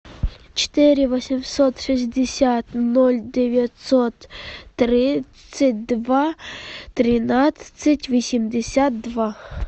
четыре восемьсот шестьдесят ноль девятьсот тридцать два тринадцать восемьдесят два